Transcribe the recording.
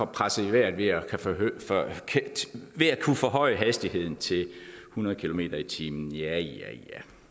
presset i vejret ved at kunne forhøje hastigheden til hundrede kilometer per time ja ja